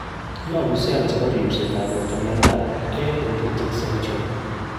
yopu cell chepo rispset ap porto miondap A dendritic cell tumo.